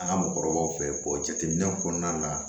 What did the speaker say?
An ka mɔgɔkɔrɔbaw fɛ yen jateminɛw kɔnɔna la